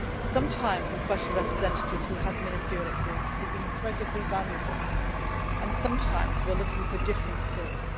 Sometimes a Special Representative who has ministerial experience is incredibly valuable, and sometimes we are looking for different skills.